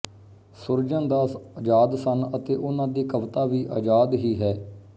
ਸੁਰਜਣ ਦਾਸ ਅਜ਼ਾਦ ਸਨ ਅਤੇ ਉਹਨਾਂ ਦੀ ਕਵਿਤਾ ਵੀ ਅਜ਼ਾਦ ਹੀ ਹੈ